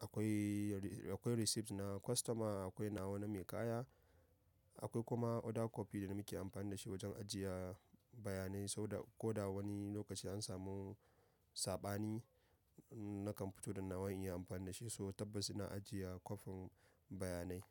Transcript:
akwai, akwai receipt na customer, akwai nawa na mai kaya, akwai kuma order copy da muke amfani da shi wajen ajiya bayanai, sau da ko da wani lokaci an samu saɓani nakan fito da nawa in yi amfani da shi, so tabbas ina ajiye kwafin bayanai.